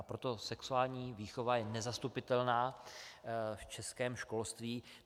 A proto sexuální výchova je nezastupitelná v českém školství.